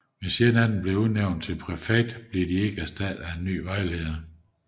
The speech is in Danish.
Hvis en af dem bliver udnævnt til præfekt bliver de ikke erstattet af en ny vejleder